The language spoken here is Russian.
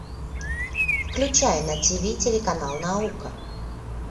включай на тиви телеканал наука